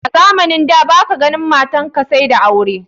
A Zamanin da baka ganin matanka said ka aureta.